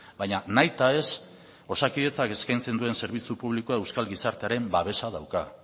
baina nahita ez osakidetzak eskaintzen duen zerbitzu publikoa euskal gizartearen babesa dauka